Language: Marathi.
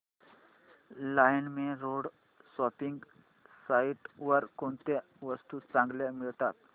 लाईमरोड शॉपिंग साईट वर कोणत्या वस्तू चांगल्या मिळतात